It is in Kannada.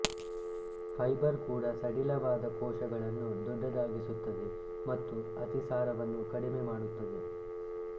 ಫೈಬರ್ ಕೂಡ ಸಡಿಲವಾದ ಕೋಶಗಳನ್ನು ದೊಡ್ಡದಾಗಿಸುತ್ತದೆ ಮತ್ತು ಅತಿಸಾರವನ್ನು ಕಡಿಮೆ ಮಾಡುತ್ತದೆ